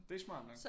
Det er smart nok